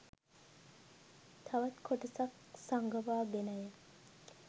තවත් කොටසක් සඟවා ගෙනය.